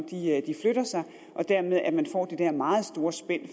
flytter sig og dermed at man får det der meget store spænd